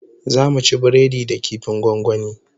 Zamu ci biredi da kifin gwangwani